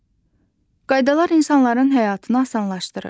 Qaydalar insanların həyatını asanlaşdırır.